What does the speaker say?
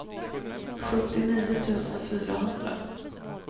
sjuttionio tusen fyrahundra